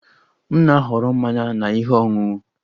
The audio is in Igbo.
M na-ahọrọ mmanya na ihe ọṅụṅụ